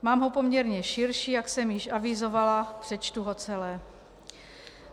Mám ho poměrně širší, jak jsem již avizovala, přečtu ho celé.